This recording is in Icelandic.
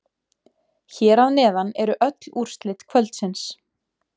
Hér að neðan eru öll úrslit kvöldsins.